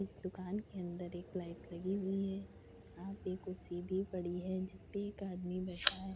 इस दुकान के अंदर एक लाइट लगी हुई है यहाँ पे कुर्सी भी पड़ी है जिसपे एक आदमी बैठा है।